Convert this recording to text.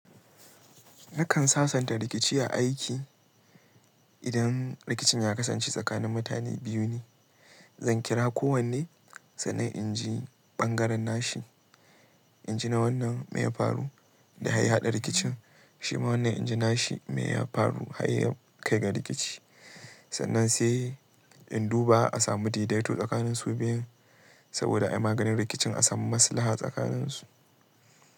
Nakan sasanta rikici a aiki idan rikicin ya kasance tsakanin mutane biyu ne. Zan kira kowanne, sannan inji ɓangaren nashi, inji na wannan meye ya faru da har ya haɗa rikicin, shi ma wannan inji nashi me ya faru har ya kai ga rikici. Sannan sai in duba a samu daidaito tsakanin su biyun saboda ayi maganin rikicin a samu maslaha tsakanin su.